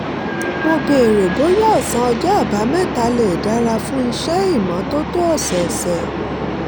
mo béèrè bóyá ọ̀sán ọjọ́ àbámẹ́ta lè dára fún iṣẹ́ ìmọ́tótó ọ̀sọ̀ọ̀sẹ̀